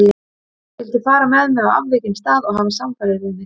Vildi fara með mig á afvikinn stað og hafa samfarir við mig.